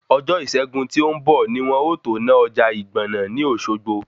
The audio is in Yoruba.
Ọjọ́ Iṣẹ́gun tí ó ń bọ̀ ni wọn o tó ná ọjà ìgbọ̀nà ní Òsogbo